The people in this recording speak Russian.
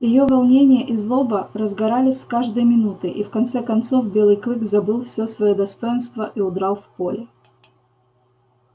её волнение и злоба разгорались с каждой минутой и в конце концов белый клык забыл всё своё достоинство и удрал в поле